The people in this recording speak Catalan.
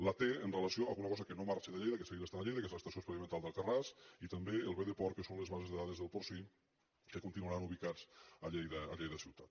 la té amb relació a una cosa que no marxa de lleida que segueix estant a lleida que és l’estació experimental d’alcarràs i també el bdporc que són les bases de dades del porcí que continuaran ubicats a lleida ciutat